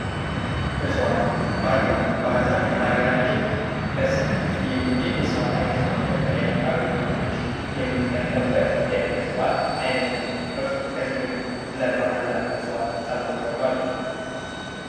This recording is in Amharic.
እጽዋት ፦ ባህር ዛፍ ፦ ባህር ዛፍ በሀገራችን በሰፊ ክፍል የሚገኝ የእፅዋት አይነት ሲሆን ለተለያዩ አገልግሎቶች የምንጠቀምበት የእፅዋት አይነት ነው ። እርስዋ ከዚህ በፊት ስለ ባህር ዛፍ እጽዋት ሰምተው ያውቃሉ ?